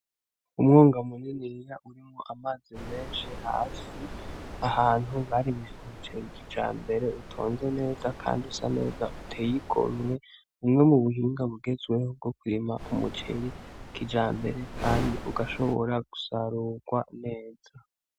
Umwonga muniniya urimwo amazi menshi hasi ahantu barimye umuceri kijambere utonze neza kandi usaneza uteye igomwe bumwe mubuhinga bugezweho bwokurima umuceri kijambere kandi ugashobora gusarugwa neza.